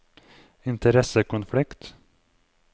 interessekonflikt